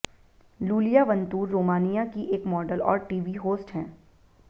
Lulia Vantur Romania की एक model और टीवी होस्ट हैं